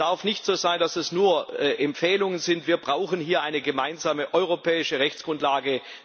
Es darf nicht so sein, dass das nur Empfehlungen sind, wir brauchen hier eine gemeinsame europäische Rechtsgrundlage.